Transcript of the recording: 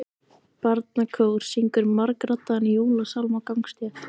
Barnakór syngur margraddaðan jólasálm á gangstétt.